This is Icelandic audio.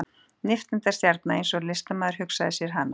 Nifteindastjarna eins og listamaður hugsaði sér hana.